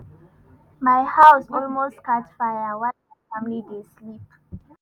my house almost catch fire while my family dey sleep.